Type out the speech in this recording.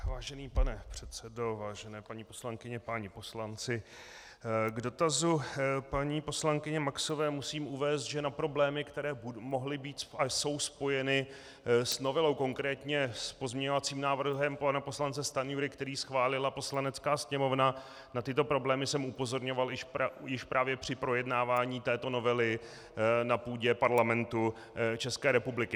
Vážený pane předsedo, vážené paní poslankyně, páni poslanci, k dotazu paní poslankyně Maxové musím uvést, že na problémy, které mohly být a jsou spojeny s novelou, konkrétně s pozměňovacím návrhem pana poslance Stanjury, který schválila Poslanecká sněmovna, na tyto problémy jsem upozorňoval už právě při projednávání této novely na půdě Parlamentu České republiky.